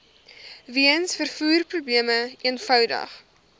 weens vervoerprobleme eenvoudig